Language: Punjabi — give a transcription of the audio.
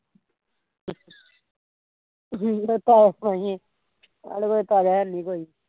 ਹਮ ਸਾਡੇ ਕੋਲ ਤਾਜ਼ਾ ਹੈਨੀ ਕੋਈ